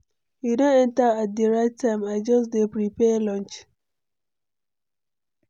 You don enter at the right time, I just dey prepare lunch.